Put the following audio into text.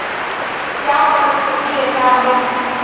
त्या परत कधी येताहेत?